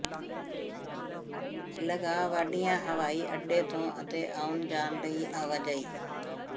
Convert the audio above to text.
LaGuardia ਹਵਾਈ ਅੱਡੇ ਤੋਂ ਅਤੇ ਆਉਣ ਜਾਣ ਲਈ ਆਵਾਜਾਈ